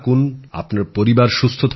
আপনার পরিবার সুস্থ থাকুক